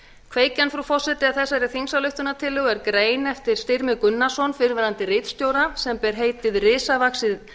kveikjan frú forseti að þessari þingsályktunartillögu er grein eftir styrmi gunnarsson fyrrverandi ritstjóra sem ber heitið risavaxið